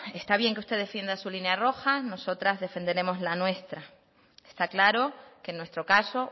está bien que usted defienda su línea roja nosotras defenderemos la nuestra está claro que en nuestro caso